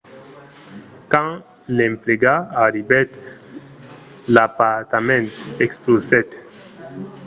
quand l'emplegat arribèt l'apartament explosèt